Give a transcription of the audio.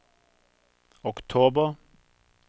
oktober